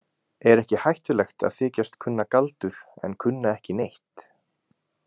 Er ekki hættulegt að þykjast kunna galdur en kunna ekki neitt?